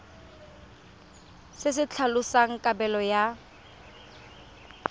se se tlhalosang kabelo ya